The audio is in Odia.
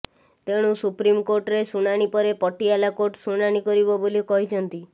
ତେଣୁ ସୁପ୍ରିମକୋର୍ଟରେ ଶୁଣାଣି ପରେ ପଟିଆଲା କୋର୍ଟ ଶୁଣାଣି କରିବ ବୋଲି କହିଛନ୍ତି